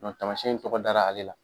tamasiɲɛn in tɔgɔ dara ale la.